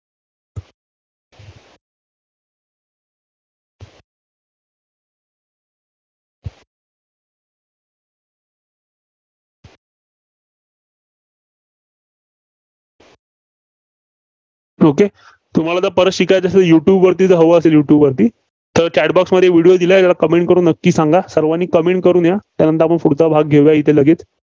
okay तुम्हाला परत शिकायचं असेल तर युट्यूबवरती जर हवं असेल युट्यूबवरती तर Chat box मध्ये video दिलाय बघा. Comment करून नक्की सांगा. सर्वांनी Comment करून या. त्यानंतर आपण पुढचा भाग घेऊया येथे लगेच.